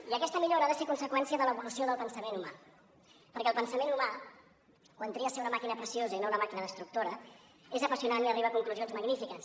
i aquesta millora ha de ser conseqüència de l’evolució del pensament humà perquè el pensament humà quan tria ser una màquina preciosa i no una màquina destructora és apassionant i arriba a conclusions magnífiques